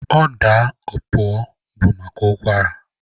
Ọda opuo bụ maka ụkwara.